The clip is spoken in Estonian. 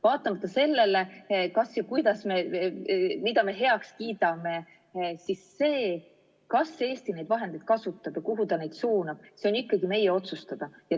Vaatamata sellele, kas ja kuidas ja mida me heaks kiidame, on see, kas Eesti neid vahendeid kasutab ja kuhu ta neid suunab, ikkagi meie otsustada.